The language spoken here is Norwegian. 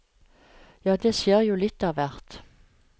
Ja, det skjer jo litt av hvert.